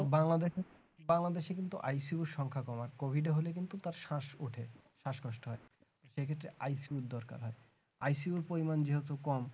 বাংলাদেশে বাংলাদেশে কিন্তু ICU সংখ্যা কম আছে COVID এ হলে কিন্তু তার শ্বাস ওঠে শ্বাসকষ্ট হয় এক্ষেত্রে ICU দরকার হয় ICU পরিমাণ যেহেতু কম